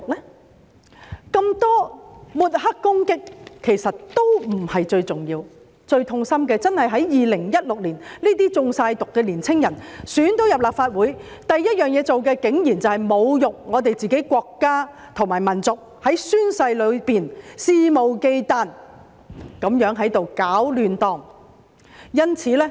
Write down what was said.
那麼多抹黑攻擊，其實都不是最重要，最痛心的真的是在2016年，這些完全"中毒"的年青人成功被選入立法會，他們首要做的事情竟然是侮辱自己的國家和民族，在宣誓裏肆無忌憚地搗亂。